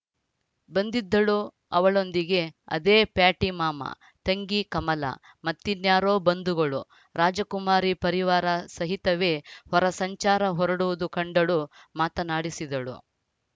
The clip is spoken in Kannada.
ಬಂದಿದ್ದಳು ಅವಳೊಂದಿಗೆ ಅದೇ ಪ್ಯಾಟಿ ಮಾಮ ತಂಗಿ ಕಮಲ ಮತ್ತಿನ್ಯಾರೋ ಬಂಧುಗಳು ರಾಜಕುಮಾರಿ ಪರಿವಾರ ಸಹಿತವೇ ಹೊರಸಂಚಾರ ಹೊರಡುವುದು ಕಂಡಳು ಮಾತನಾಡಿಸಿದಳು